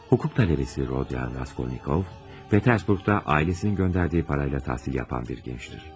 Hukuk tələbəsi Rodion Raskolnikov, Peterburqda ailəsinin göndərdiyi parayla təhsil yapan bir gəncdir.